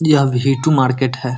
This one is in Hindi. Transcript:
यह वी टु मार्केट है।